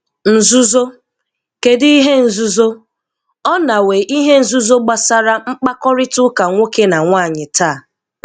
Nzúzó? Kèdù íhè nzúzó? Ọ nàwẹ́ íhè nzúzó gbàsàrà mkpàkọ́rịtà́ nwókè na nwányị tàá.